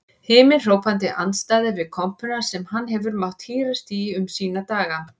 Himinhrópandi andstæða við kompuna sem hann hefur mátt hírast í um sína daga.